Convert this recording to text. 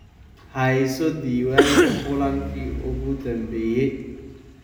Hayso diiwaanka kulankii ugu dambeeyay.